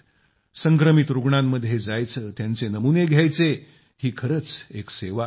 संक्रमित रूग्णांमध्ये जायचे त्यांचे नमुने घ्याचे ही खरच एक सेवा आहे